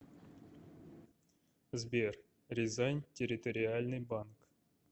сбер рязань территориальный банк